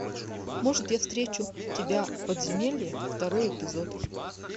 может я встречу тебя в подземелье второй эпизод